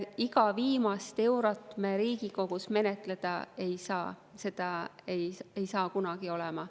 Iga viimast kui eurot me Riigikogus menetleda ei saa, seda ei saa kunagi olema.